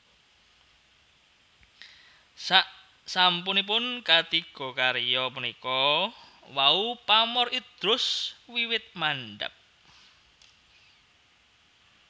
Saksampunipun katiga karya punika wau pamor Idrus wiwit mandhap